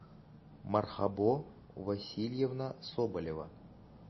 мархабо васильевна соболева